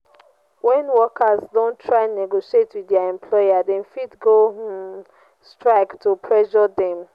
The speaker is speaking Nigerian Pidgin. when workers don try negotiate with their employer dem fit go um strike to pressure dem